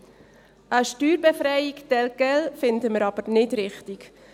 Eine Steuerbefreiung tel quel finden wir aber nicht richtig.